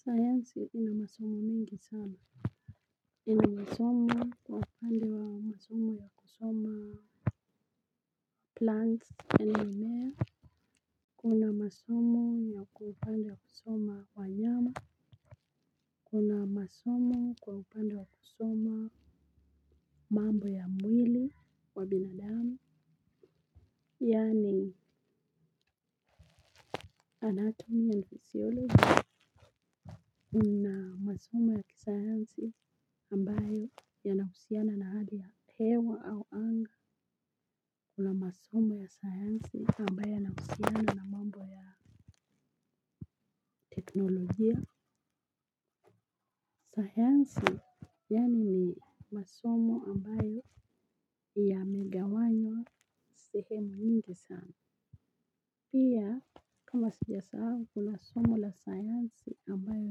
Sayansi ina masomo mingi sana. Inamasomo kwa upandi wa masomo ya kusoma Plants enonea kuna masomo yako upande ya kusoma wanyama. Kuna masomo kwa upande wa kusoma. Mambo ya mwili wa binadami. Yani anatomy and physiology kuna masomo ya kisayansi ambayo yanahusiana na hali ya hewa au anga kuna masomo ya sayansi ambayo yanahusiana na mambo ya teknolojia sayansi yani ni masomo ambayo yamegawanywa sehemu nyingi sana pia kama sijasahao kuna somo la sayansi ambayo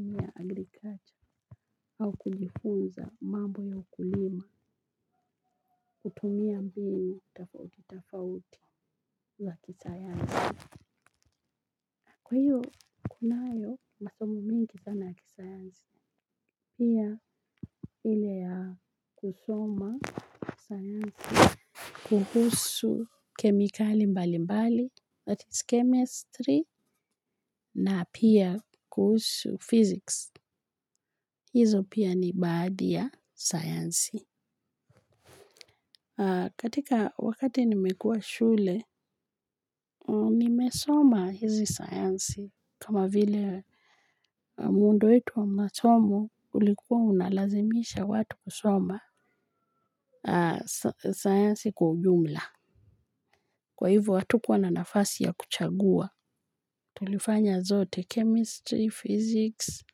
ni ya agriculture au kujifunza mambo ya ukulima. Kutumia mbinu tafauti tafauti za kisayansi kwa hiyo, kunayo masomo mingi sana ya kisayansi. Pia hile ya kusoma sayansi. Kuhusu kemikali mbali mbali, that is chemistry, na pia kuhusu physics. Hizo pia ni baadhi ya sayansi. Katika wakati nimekua shule, nimesoma hizi sayansi kama vile muundo wetu wa masomo. Kulikuwa unalazimisha watu kusoma sayansi kwa ujumla kwa hivu hatukua na nafasi ya kuchagua tulifanya zote chemistry, physics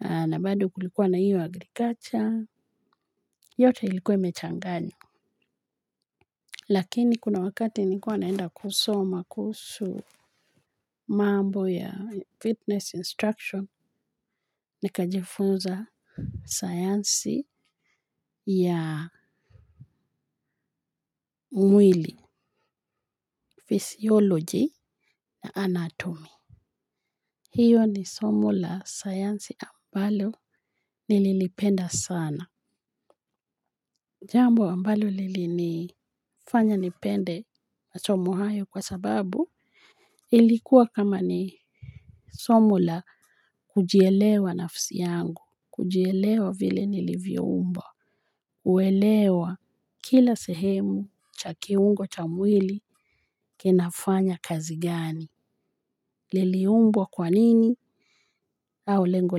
na bado kulikuwa na iyo agriculture yote ilikuwa imechanganywa lakini kuna wakati nikua naenda kusoma kuusu mambo ya fitness instruction nikajifunza sayansi ya mwili Physiology na anatomy. Hiyo ni somo la sayansi ambalo nililipenda sana. Jambo ambalo lili nifanya nipende masomo hayo kwa sababu ilikuwa kama ni somo la kujielewa nafsi yangu. Kujielewa vile nilivyo umbwa. Uwelewa kila sehemu chakiungo cha mwili kinafanya kazi gani. Liliumbwa kwa nini au lengo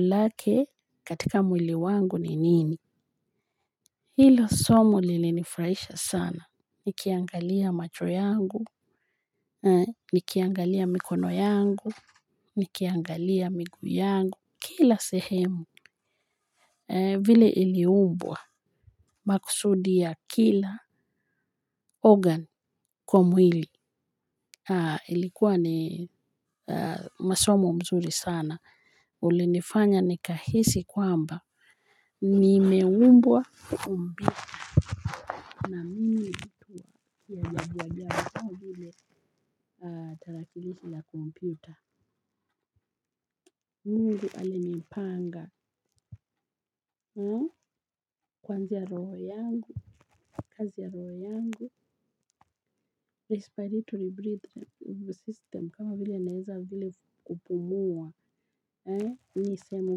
lake katika mwili wangu ni nini. Hilo somo lili nifraisha sana. Nikiangalia macho yangu, nikiangalia mikono yangu, nikiangalia miguu yangu. Kila sehemu vile iliumbwa maksudi ya kila organ kwa mwili. Haa ilikuwa ni masomo mzuri sana ulinifanya nikahisi kwamba ni meumbwa umbika na mili uduwa biya mbika. Haa tarakilisi ya komputer Mungu alinipanga. Haa kwanzia roho yangu kazi ya roho yangu respiratory system kama vile naeza vile kupumuwa ni seemu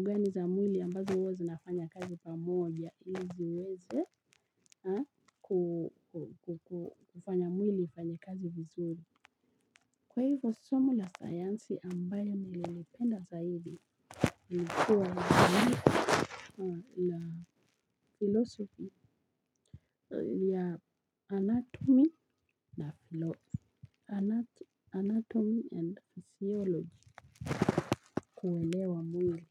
gani za mwili ambazo ua zinafanya kazi pamoja kufanya mwili ifanya kazi vizuri kwa hivyo somo la sayansi ambayo nililipenda zaidi. Nmekuwa ni la philosophy ya anatomy na anatomy and archaeology kuwelewa mwili.